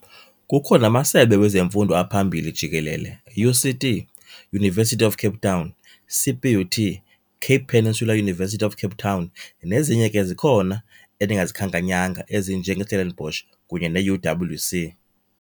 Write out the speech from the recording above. Kukho namasebe wezemfundo aphambili jikelele UCT, University of Cape Town, CPUT, Cape Peninsula University of Cape Town, nezinye ke zikhona endingazikhankanyanga ezinjengestellenbocsh kunye neUWC.